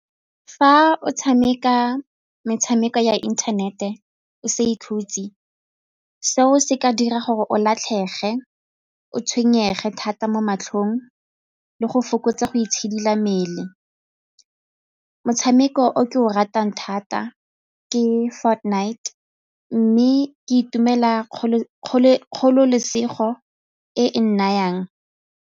Fa o tshameka metshameko ya internet-e o sa ikhutse, seo se ka dira gore o latlhege, o tshwenyege thata mo matlhong le go fokotsa itshidila mmele. Motshameko o ke o ratang thata ke Fortnite mme ke itumela kgololesego e e nnayang.